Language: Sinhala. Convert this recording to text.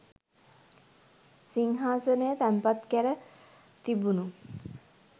සිංහාසනය තැන්පත් කැර තිබුණු